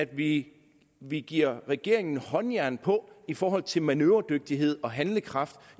vi vi giver regeringen håndjern på i forhold til manøvredygtighed og handlekraft